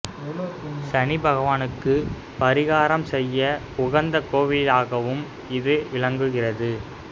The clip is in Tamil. சனி பகவானுக்கு பரிகாரம் செய்ய உகந்த கோவிலிலாகவும் இது விளங்குகின்றது